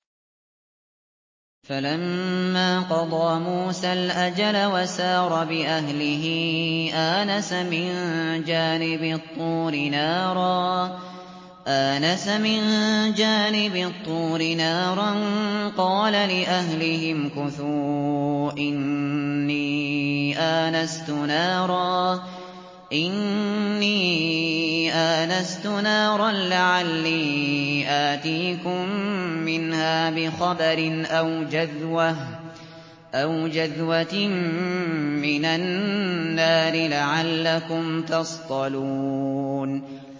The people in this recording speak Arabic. ۞ فَلَمَّا قَضَىٰ مُوسَى الْأَجَلَ وَسَارَ بِأَهْلِهِ آنَسَ مِن جَانِبِ الطُّورِ نَارًا قَالَ لِأَهْلِهِ امْكُثُوا إِنِّي آنَسْتُ نَارًا لَّعَلِّي آتِيكُم مِّنْهَا بِخَبَرٍ أَوْ جَذْوَةٍ مِّنَ النَّارِ لَعَلَّكُمْ تَصْطَلُونَ